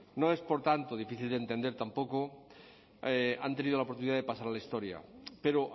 no es por tanto difícil de entender tampoco han tenido la oportunidad de pasar a la historia pero